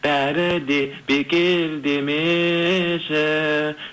бәрі де бекер демеші